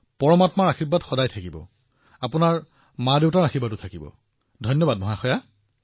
পৰমাত্মাৰ আশীৰ্বাদ সদায়েই আপোনাৰ ওপৰত থাকক পিতৃমাতৃৰ আশীৰ্বাদ আপোনাৰ ওপৰত থাকক